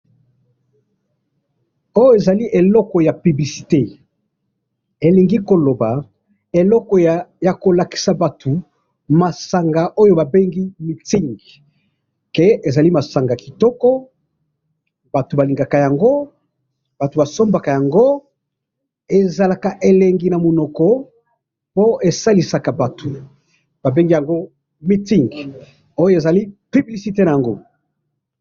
oyo ezali eloko ya publicite elingi koloba eloko ya kolakisa batu masanga oyo ba bengi MUTZING k ezali masanga kitoko batu balingaka yango batu basombaka yango ezalaka elengi na munoko po esalisaka batu ba bengi yango MUTZING oyo ezali publicite nango.